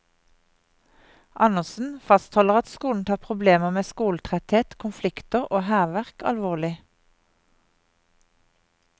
Andersen fastholder at skolen tar problemer med skoletretthet, konflikter og hærverk alvorlig.